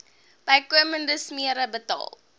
bykomende smere betaal